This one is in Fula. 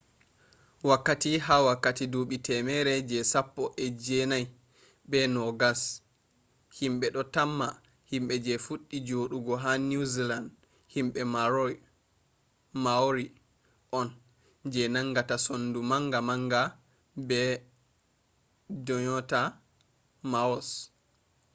wakkati ha wakkati duubi temere je sappo e je nai be nogas himbe do tamma himbe je fuddi jodugo ha new zealand himbe maori on je nangata sondu manga manga be dyonata moas